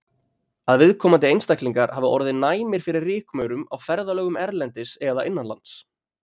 Að viðkomandi einstaklingar hafi orðið næmir fyrir rykmaurum á ferðalögum erlendis eða innanlands.